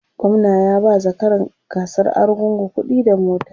gwamna ya ba zakaran gasar argungu kuɗi da mota